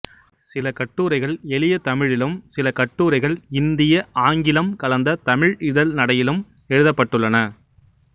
சில கட்டுரைகள் எளிய தமிழிலும் சில கட்டுரைகள் இந்திய ஆங்கிலம் கலந்த தமிழ் இதழ் நடையிலும் எழுதப்பட்டுள்ளன